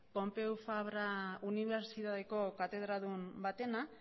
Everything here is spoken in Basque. pompeu fabra unibertsitateko katedradun batena